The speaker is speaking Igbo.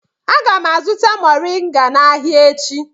Aga m azụta moriga n'ahia echi